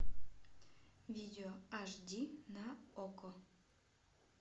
видео аш ди на окко